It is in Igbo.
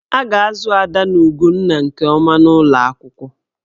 A ga-azụ Ada na Ugonna nke ọma n'ụlọ akwụkwọ.